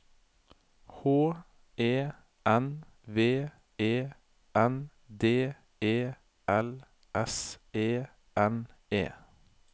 H E N V E N D E L S E N E